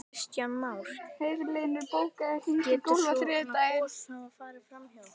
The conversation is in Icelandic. Kristján Már: Getur svona gos hafa farið fram hjá okkur?